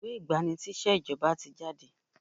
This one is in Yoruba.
Ìwé ìgbà-ni-síṣẹ́ ìjọba ti jáde.